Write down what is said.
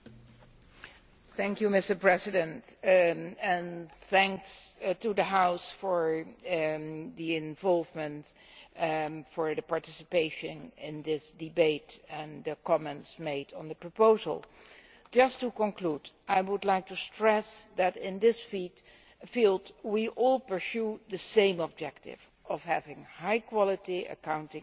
Mr President, I would like to thank the House for its involvement and participation in this debate and the comments made on the proposal. Just to conclude, I would like to stress that in this field we all pursue the same objective of having high quality accounting standards for businesses.